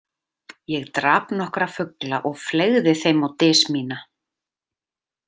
Ég drap nokkra fugla og fleygði þeim á dys mína.